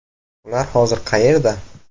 Ular hozir qayerda?.